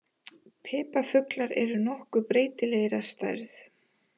Piparfuglar eru nokkuð breytilegir að stærð.